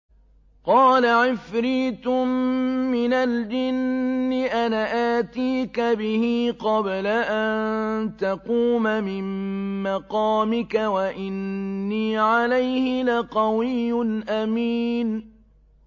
قَالَ عِفْرِيتٌ مِّنَ الْجِنِّ أَنَا آتِيكَ بِهِ قَبْلَ أَن تَقُومَ مِن مَّقَامِكَ ۖ وَإِنِّي عَلَيْهِ لَقَوِيٌّ أَمِينٌ